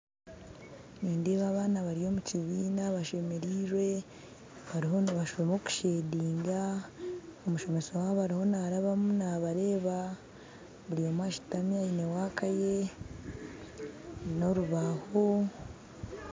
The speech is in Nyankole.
Nindeeba abaana bari omukibiina bashemerirwe bariho nibashoma okushedinga , omushomesa wabo ariyo narabamu nabareeba buri omwe ashutami aine waka ye n'orubaho.